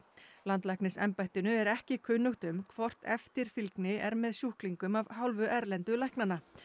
landlæknisembættinu er ekki kunnugt um hvort eftirfylgni er með sjúklingum af hálfu erlendu læknanna